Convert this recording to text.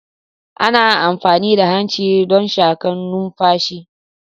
Ana amfani da hanci don shakan numfashi.